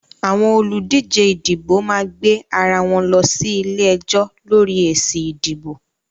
Àwọn olùdíjẹ ìdìbò máa gbé ara wọn lọ sí ilé-ẹjọ́ lọ́rí èsì ìdìbò